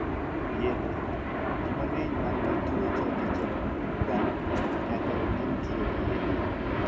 Yedhe. Ji mang'eny man gi tuo choke chong, bam, nyaka onding' tiyo gi yedhe.